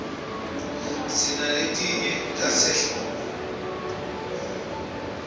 sinaletinye tasehlobo